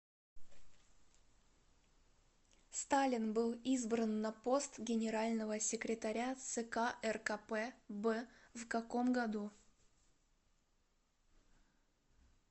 сталин был избран на пост генерального секретаря цк ркп б в каком году